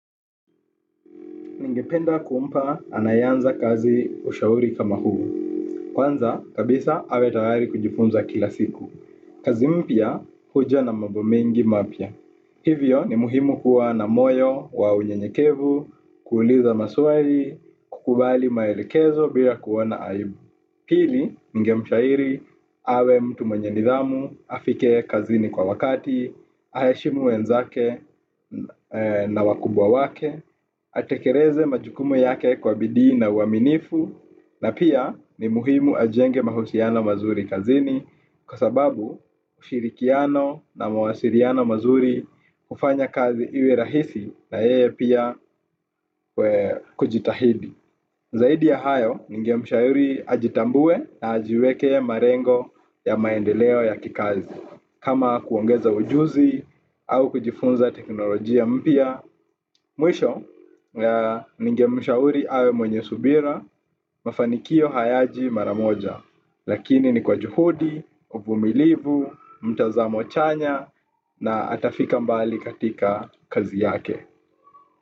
Ningependa kumpa anaeanza kazi ushauri kama huu. Kwanza, kabisa, awe tayari kujifunza kila siku. Kazi mpya, huja na mambo mengi mapya. Hivyo ni muhimu kuwa na moyo wa unyenyekevu, kuuliza maswali, kukubali maelekezo bila kuona aibu. Pili, ninge mshauri, awe mtu mwenye nidhamu, afike kazini kwa wakati, aheshimu wenzake na wakubwa wake, atekeleze majukumu yake kwa bidii na uaminifu. Na pia ni muhimu ajenge mahusiano mazuri kazini kwa sababu ushirikiano na mawasiliano mazuri kufanya kazi iwe rahisi na yeye pia kujitahidi. Zaidi ya hayo ninge ningemshauri ajitambue na ajiwekee malengo ya maendeleo ya kikazi kama kuongeza ujuzi au kujifunza teknolojia mpya. Mwisho, ninge mshauri awe mwenye subira, mafanikio hayaji mara moja, lakini ni kwa juhudi, uvumilivu mtazamo chanya, na atafika mbali katika kazi yake.